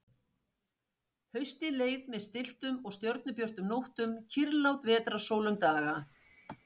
Haustið leið með stilltum og stjörnubjörtum nóttum, kyrrlát vetrarsól um daga.